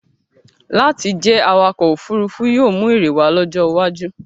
Láti jẹ́ awakọ̀-òfurufú yóò mú èrè wá lọ́jọ́ iwájú.